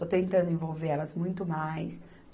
Estou tentando envolver elas muito mais.